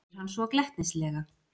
spyr hann svo glettnislega.